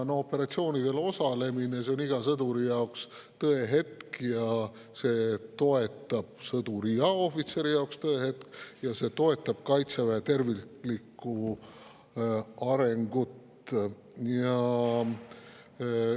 Operatsioonidel osalemine on iga sõduri ja ohvitseri jaoks tõehetk ja see toetab meie kaitseväe terviklikku arengut.